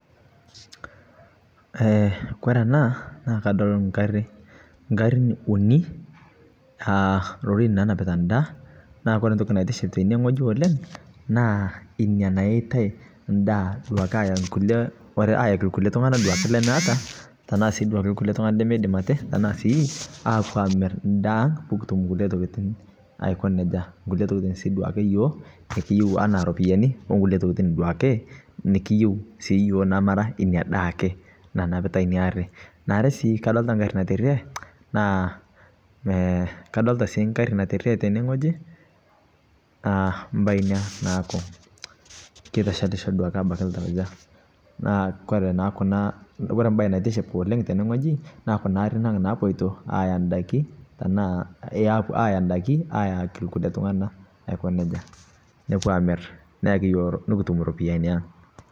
Kore anaa naa kadol nkarin unii aa rorin nanapitaaa ndaa naa kore ntoki naiiship teinie ng'oji oleng' naa inia nayeitai ndaa ayaa ndaa ayaki lkulie tung'anaa duake lemeata tanaa sii duake lkulie tung'ana lemeidim atee tanaa sii apu amir ndaa pukutum nkulie tokitin aiko nejaa nkulie tokitin sii duake yoo nikiyeu anaa ropiyani onkulie tokitin duakee nikiyeu sii yooh namataa inia daa akee nanapitaa inia arii naare sii kadolitaa nkarii naterie naa kadolitaa siii nkari naterie teinie ng'ojii mbai inia naaku keitashalisho abaki duake ltaujaa naa kore naa kunaa kore mbai naitiship oleng' tenee ng'oji naa kunaa arin ang' napoitoo aiyaa ndaki tanaa ayaa ndakii ayakii lkulie tnung'anaa aiko nejaa nopuo amir neyaki yoo nikitum ropiyani ang'.